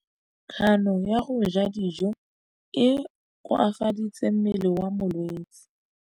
Kganô ya go ja dijo e koafaditse mmele wa molwetse.